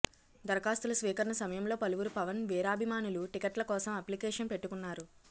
దరఖాస్తుల స్వీకరణ సమయంలో పలువురు పవన్ వీరాభిమానులు టికెట్ల కోసం అప్లికేషన్ పెట్టుకున్నారు